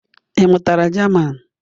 Ị mụtara German?